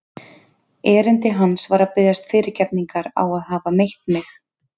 Erindi hans var að biðjast fyrirgefningar á að hafa meitt mig.